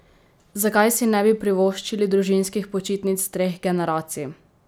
Zakaj si ne bi privoščili družinskih počitnic treh generacij?